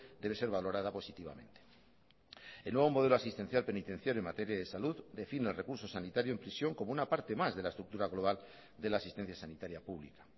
debe ser valorada positivamente el nuevo modelo asistencial penitenciario en materia de salud define el recurso sanitario en prisión como una parte de más de la estructura global de la asistencia sanitaria pública